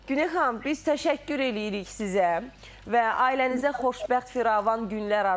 Günel xanım, biz təşəkkür eləyirik sizə və ailənizə xoşbəxt firavan günlər arzulayırıq.